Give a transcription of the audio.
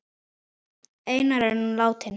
Einar er nú látinn.